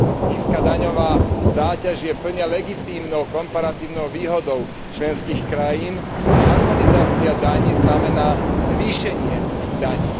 Nízka daňová záťaž je plne legitímnou komparatívnou výhodou členských krajín a harmonizácia daní znamená zvýšenie ich daní.